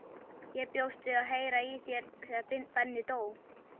Ég bjóst við að heyra í þér þegar Benni dó.